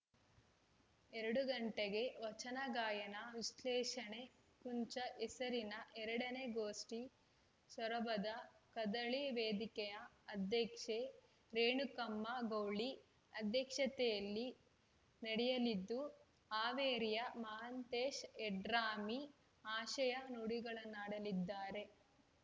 ಎರಡು ಗಂಟೆಗೆ ವಚನ ಗಾಯನ ವಿಶ್ಲೇಷಣೆ ಕುಂಚ ಹೆಸರಿನ ಎರಡ ನೇ ಗೋಷ್ಠಿ ಸೊರಬದ ಕದಳಿ ವೇದಿಕೆಯ ಅಧ್ಯಕ್ಷೆ ರೇಣುಕಮ್ಮ ಗೌಳಿ ಅಧ್ಯಕ್ಷತೆಯಲ್ಲಿ ನಡೆಯಲಿದ್ದು ಹಾವೇರಿಯ ಮಹಾಂತೇಶ್‌ ಯಡ್ರಾಮಿ ಆಶಯ ನುಡಿಗಳನ್ನಾಡಲಿದ್ದಾರೆ